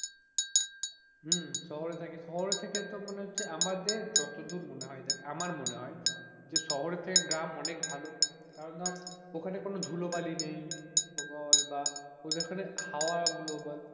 হম শহরে থাকি শহরে থেকে তো মনে হচ্ছে আমাদের যতদূর মনে হয় আমার মনে হয় যে শহর থেকে গ্রাম অনেক ভালো কারণ ধর ওখানে কোনো ধুলো বালি নেই বল বা ওদের ওখানে হাওয়া গুলো বল,